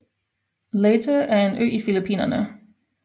Leyte er en ø i Filippinerne